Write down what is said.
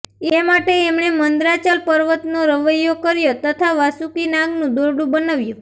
એ માટે એમણે મંદરાચલ પર્વતનો રવૈયો કર્યો તથા વાસુકી નાગનું દોરડું બનાવ્યું